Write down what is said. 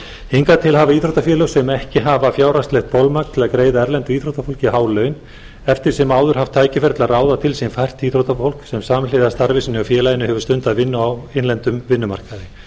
hingað til hafa íþróttafélög sem ekki hafa fjárhagslegt bolmagn til að greiða erlendu íþróttafólki há laun eftir sem áður haft tækifæri til að ráða til sín fært íþróttafólk sem samhliða starfi sínu hjá félaginu hefur stundað vinnu á innlendum vinnumarkaði